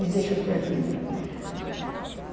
Me deixa por aqui mesmo.